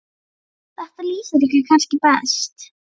Þetta lýsir ykkur kannski best.